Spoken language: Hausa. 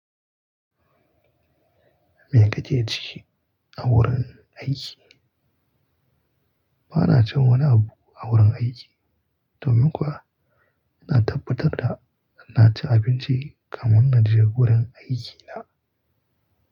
Me kake ci a wurin aiki? Ba na cin wani abu a wurin aiki. Domin kuwa, ina tabbatar da na ci abinci kamin na je gurin aikina.